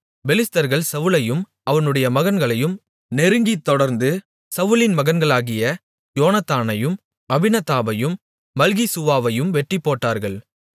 பெலிஸ்தர்கள் சவுலையும் அவனுடைய மகன்களையும் நெருங்கித் தொடர்ந்து சவுலின் மகன்களாகிய யோனத்தானையும் அபினதாபையும் மல்கிசூவாவையும் வெட்டிப்போட்டார்கள்